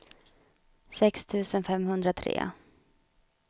sex tusen femhundratre